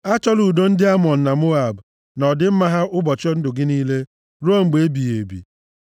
Achọla udo ndị Amọn na Moab, na ọdịmma ha ụbọchị ndụ gị niile ruo mgbe ebighị ebi.